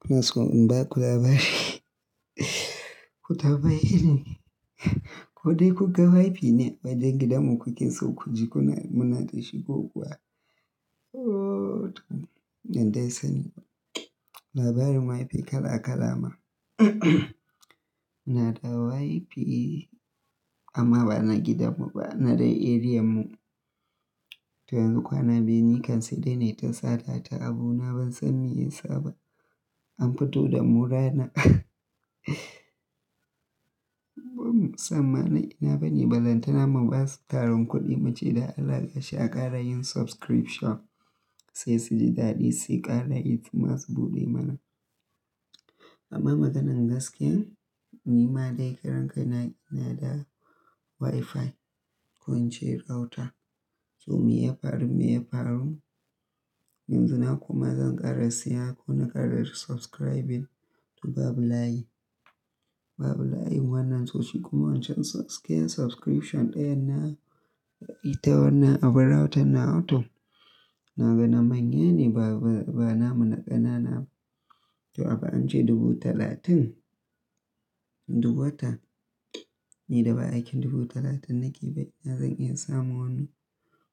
Kuna so in ba ku labari? Ko ta bayyane, ko dai kuga Wi-Fi ne wajen gidanmu kuke so ku ji kuna muna shi kokuwa? Ooh, ban dai sani ba. Labarin Wi-Fi kala kala ma. Na da Wi-Fi amma ba na gidanmu ba, na dai arean mu. To yanzu kwana biyu ni kan sai dai na yi ta sata ta abu na ban san me ya saba. An fito da murana. Musamman ina bani balantana ma basu taron kuɗi mace da alaƙa shaƙara yin subscription sai su ji daɗi sai ƙara yin masu buɗe mana. Amma maganan gaskiya, ni ma dai karan kai na ina da Wi-Fi, ko ince router. To me ya faru, me ya faru? Yanzu na kuma zan ƙara siya ko na ƙara subscribing to babu layi. Babu layi wannan sosai kuma wancan ɗayan subscription ɗayan nan ita wannan abun router nawa to. Na ga na manya ne ba, ba, ba na mu na ƙanana. To abu an ce dubu talatin duk wata. Ni da ba aikin dubu talatin na keba ina zan iya samun wannan?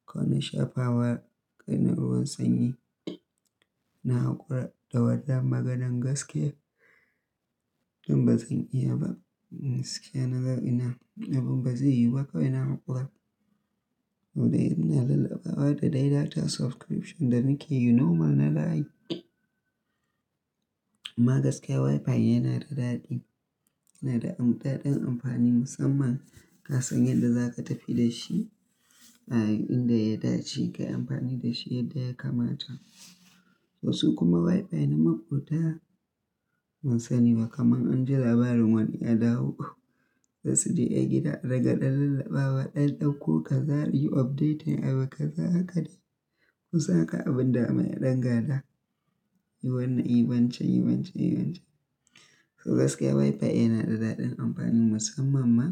Ko na shafa wa ƙanin ruwan sanyi na haƙura da wannan maganan gaskiya? Dan ba zan iya ba, gaskiya naga ina, abun ba zai yiwu ba kawai na haƙura. Wai ina lallabawa da dai data subscription da muke yi normal na da. Amma gaskiya Wi-Fi yana da daɗi, yana da ɗaɗin amfani musamman ka san yadda za ka tafi da shi a inda ya dace, ka yi amfani da shi yadda ya kamata. Wasu kuma Wi-Fi na maƙota. Ban sani ba kamar an ji labarin wani ya dawo sai su je a gida, daga ɗan lallaɓawa ɗan ɗauko ka za yi update yin abu ka za haka dai. Ku san haka abin da mai ɗan gada, yi wannan, yi wancan, yi wancan, yi wancan. To gaskiya Wi-Fi yana da ɗaɗin amfani musamman ma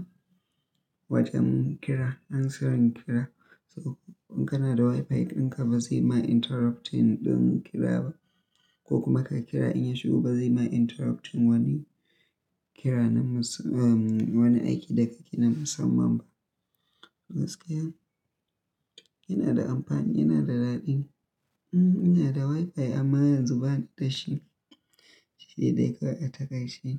wajen ƙira, answering ƙira. To in kana da Wi-Fi ɗinka ba zai ma interrupting ɗin ƙira ba. Ko kuma ka ƙira in ya shigo ba zai ma interrupting wani ƙira na musam-- um, wani aiki da ka ke na musamman ba. Gaskiya yana da amfani, yana da daɗi. Um, ina da Wi-Fi amma yanzu ba ni da shi. Shi dai kawai a takaice.